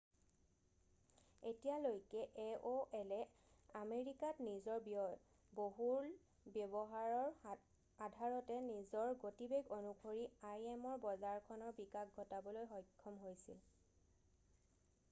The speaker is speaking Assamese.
এতিয়ালৈকে এঅ'এলে আমেৰিকাত নিজৰ বহুল ব্য়ৱহাৰৰ আধাৰতে নিজৰ গতিবেগ অনুসৰি আইএমৰ বজাৰখনৰ বিকাশ ঘটাবলৈ সক্ষম হৈছিল